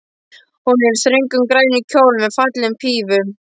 Hún er í þröngum, grænum kjól með fallegum pífum.